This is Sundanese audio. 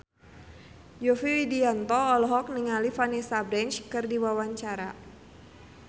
Yovie Widianto olohok ningali Vanessa Branch keur diwawancara